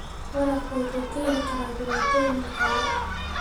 Waraabku wuxuu keeni karaa dhibaatooyin dhaqaale.